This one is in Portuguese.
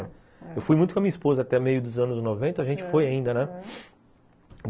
Eu fui muito com a minha esposa até meio dos anos noventa, a gente foi ainda, né?